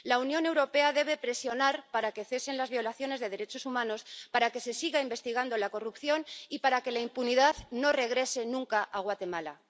La Unión Europea debe presionar para que cesen las violaciones de derechos humanos, para que se siga investigando la corrupción y para que la impunidad no regrese nunca a Guatemala.